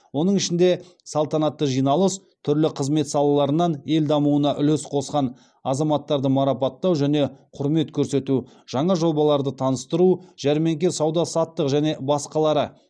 оның ішінде салтанатты жиналыс түрлі қызмет салаларынан ел дамуына үлес қосқан азаматтарды марапаттау және құрмет көрсету жаңа жобаларды таныстыру жәрмеңке сауда саттық және басқалары